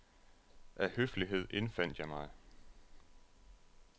Af høflighed indfandt jeg mig.